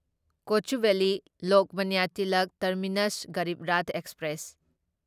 Kochuveli Lokmanya Tilak terminus Garib Rath express